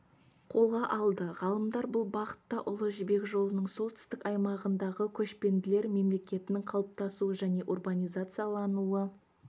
қолға алды ғалымдар бұл бағытта ұлы жібек жолының солтүстік аймағындағы көшпенділер мемлекетінің қалыптасуы және урбанизациялануы